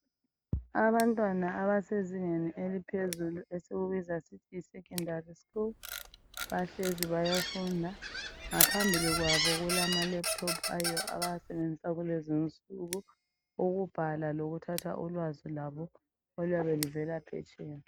abantwana abasezingeni eliphezulu esikubiza sisithi yi secondary school ,bahlezi bayafunda ngaphambili kwabo kula ama laptop abawasebenzisa kulezi insuku ukubhala lokuthatha ulwazi lwabo oluyabe luvela phetsheya